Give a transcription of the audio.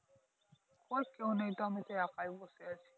কই কেও নেই তো আমিতো একাই বসে আছি।